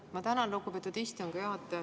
Ma tänan, lugupeetud istungi juhataja!